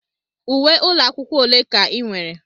Uwe ụlọ akwụkwọ ole ka ị nwere?